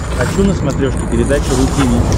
хочу на смотрешке передачу ру ти ви